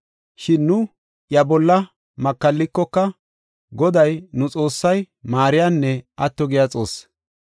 Shin nu iya bolla makallikoka, Goday nu Xoossay maariyanne atto giya Xoossi.